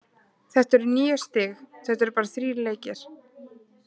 Þetta eru níu stig- þetta eru bara þrír leikir.